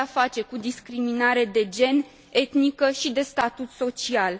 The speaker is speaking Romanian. avem de a face cu discriminare de gen, etnică și de statut social.